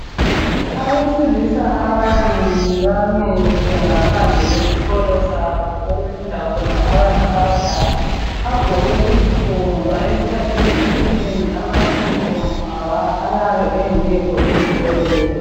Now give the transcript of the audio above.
Abesilisa ababili bamile ngaphandle kwesikolo sabo okufunda khona abantu abadala. Bagqoke izigqoko ngoba eskhathini esinengi amayunifomu awa ayabe engekho ezikolo lezi.